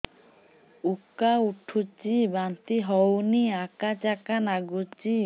ଉକା ଉଠୁଚି ବାନ୍ତି ହଉନି ଆକାଚାକା ନାଗୁଚି